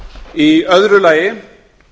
í öðru lagi